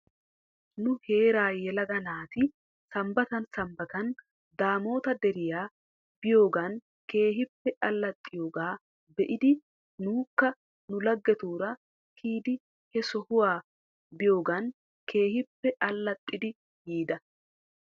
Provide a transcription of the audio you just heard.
Nu heeraa yelaga naati sambbatan sambbata daamoota deriyaa biyoogan keehippe alaxxiyoogaa be'idi nuukka nu lagetuura kiyidi he sohuwa biyoogan keehippe allaxxidi yiida.